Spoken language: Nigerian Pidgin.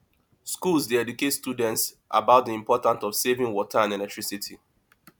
schools dey educate students about the importance of saving water and electricity